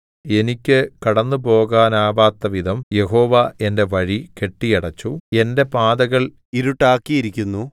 എനിക്ക് കടന്നുപോകുവാനാവാത്തവിധം യഹോവ എന്റെ വഴി കെട്ടിയടച്ചു എന്റെ പാതകൾ ഇരുട്ടാക്കിയിരിക്കുന്നു